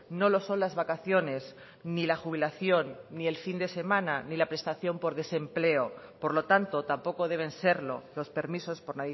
no lo son las vacaciones ni la jubilación ni el fin de semana ni la prestación por desempleo por lo tanto tampoco deben serlo los permisos por